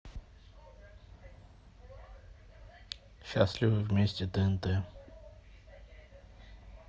счастливы вместе тнт